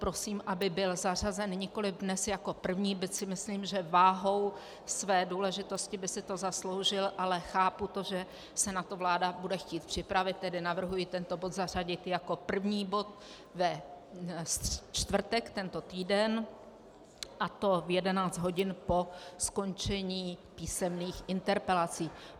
Prosím, aby byl zařazen nikoli dnes jako první, byť si myslím, že váhou své důležitosti by si to zasloužil, ale chápu to, že se na to vláda bude chtít připravit, tedy navrhuji tento bod zařadit jako první bod ve čtvrtek tento týden, a to v 11 hodin po skončení písemných interpelací.